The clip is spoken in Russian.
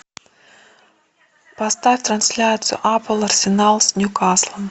поставь трансляцию апл арсенал с ньюкаслом